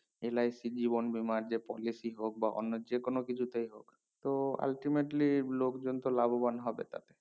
LIC জীবন বীমা যে policy হোক বা অন্য যে কিছু তে তো ultimately লোক জন তো লাভবান হবে তা